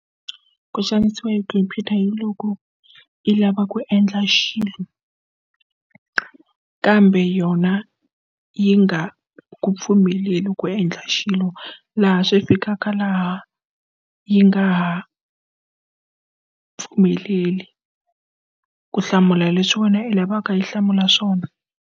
Ku xanisiwa hi khompyuta hi loko i lava ku endla xilo kambe yona yi nga ku pfumeleli ku endla hi xilo laha swi fikaka laha yi nga ha pfumeleli ku hlamula leswi wena i lavaka yi hlamula swona.